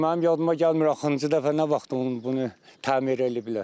Mənim yadıma gəlmir axırıncı dəfə nə vaxt bunu təmir eləyiblər.